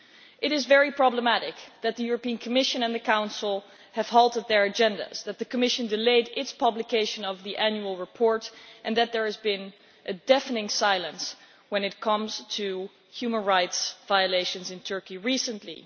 It is very problematic that the European Commission and the Council have halted their agendas, that the Commission delayed its publication of the annual report and that there has been a deafening silence when it comes to human rights violations in Turkey recently.